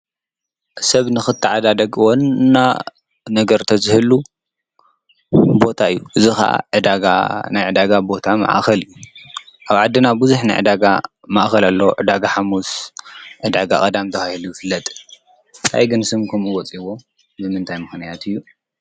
ሰብ ንኽትዓዳደግ ዋና ነገር ተዝህሉ ቦታ እዩ። እዚ ኻዓ ዕዳጋ እዩ፣ ናይ ዕዳጋ ቦታ መእኸል እዩ፣ ኣብ ዓድና ብዙሕ ናይ ዕዳጋ ማእኸል ኣሎ። ዕዳጋ ሓሙስ፣ ዕዳጋ ቐዳም ተባሂሉ ይፍለጥ። ታይ እዩ ግን ስም ኩምኡ ወፂዎ ብምንታይ ምክንያት እዩ?